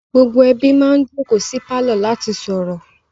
Gbogbo ẹbí máa ń jókòó sí pálọ̀ láti sọ̀rọ̀